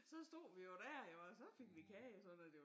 Så stod vi jo dér jo og så fik vi kage og sådan noget det var